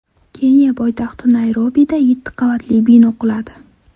Keniya poytaxti Nayrobida yetti qavatli bino quladi.